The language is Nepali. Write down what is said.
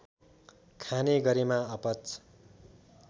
खाने गरेमा अपच